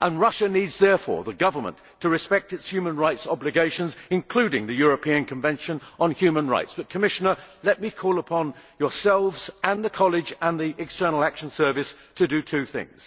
The Russian Government therefore needs to respect its human rights obligations, including the European Convention on Human Rights. But, Commissioner, let me call on yourselves, the College and the External Action Service to do two things.